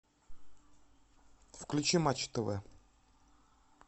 включи матч тв